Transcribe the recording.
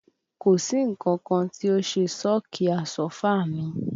Kò sí nǹkan tí ó ṣe sọ́ọ̀kì Àsọ́fà mi